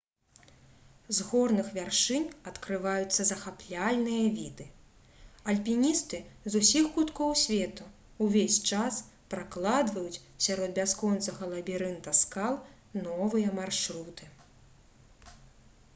з горных вяршынь адкрываюцца захапляльныя віды альпіністы з усіх куткоў свету увесь час пракладваюць сярод бясконцага лабірынта скал новыя маршруты